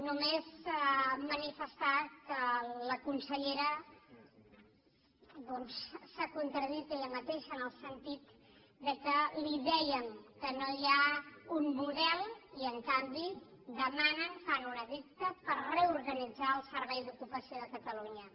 només manifestar que la conselle·ra doncs s’ha contradit ella mateixa en el sentit que li dèiem que no hi ha un model i en canvi demanen fan un edicte per reorganitzar el servei d’ocupació de catalunya